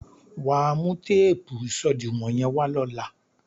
Wà á mú téèpù ìṣòdiwọ̀n yẹ́n wá lóla.